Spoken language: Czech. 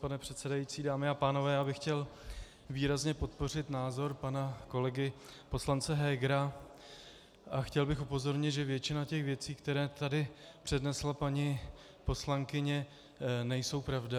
Pane předsedající, dámy a pánové, já bych chtěl výrazně podpořit názor pana kolegy poslance Hegera a chtěl bych upozornit, že většina těch věcí, které tady přednesla paní poslankyně, nejsou pravda.